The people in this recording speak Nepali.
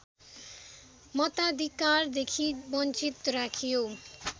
मताधिकारदेखि वञ्चित राखियो